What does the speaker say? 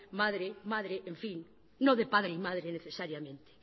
madre madre en fin no de padre y madre necesariamente